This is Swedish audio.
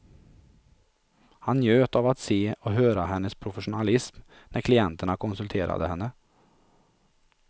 Han njöt av att se och höra hennes professionalism när klienterna konsulterade henne.